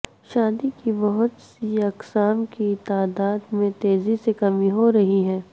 shark کی بہت سی اقسام کی تعداد میں تیزی سے کمی ہو رہی ہے